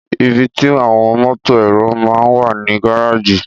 Ìbítì àwon mótò ẹrò mà ń wà ní gàrájì